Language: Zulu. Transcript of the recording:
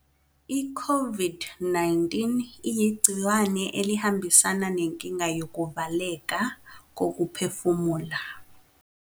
I-COVID-19 iyigciwane elihambisana nenkinga yokuvaleka kokuphefumula.